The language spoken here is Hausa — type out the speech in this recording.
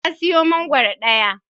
Ya siyo mangwaro daya.